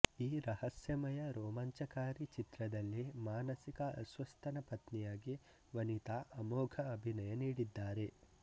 ಈ ರಹಸ್ಯಮಯ ರೋಮಾಂಚಕಾರಿ ಚಿತ್ರದಲ್ಲಿ ಮಾನಸಿಕ ಅಸ್ವಸ್ಥನ ಪತ್ನಿಯಾಗಿ ವನಿತಾ ಅಮೋಘ ಅಭಿನಯ ನಿಡಿದ್ದಾರೆ